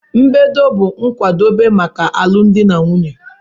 Mbedo bụ nkwadebe maka alụmdi na nwunye.